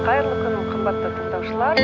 қайырлы күн қымбатты тыңдаушылар